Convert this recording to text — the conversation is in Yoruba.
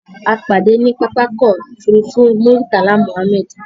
A pàdé ní pápákọ̀ ofúrufú Muritala Mohammed